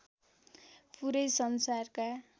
पूरै संसारका